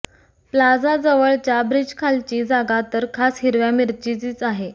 प्लाझाजवळच्या ब्रिजखालची जागा तर खास हिरव्या मिरचीच आहे